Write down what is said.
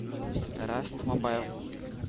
раст мобайл